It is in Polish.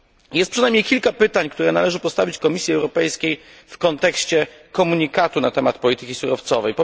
Jest przynajmniej kilka pytań, które należy postawić Komisji Europejskiej w kontekście komunikatu na temat polityki surowcowej.